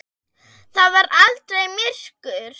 Það var aldrei myrkur.